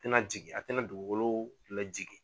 tɛna jigin a tɛna dugugolo lajigi